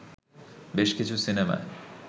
বেশ কিছু সিনেমায়